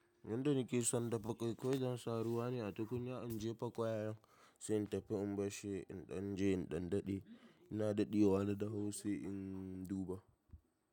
Yanda nike son dafa ƙwai, ƙwai zan sa ruwa ne a tukunya, injefa kwayayen sai in dafa, in barshi in danje in ɗan daɗe, ina daɗewa na dahu sai in duba.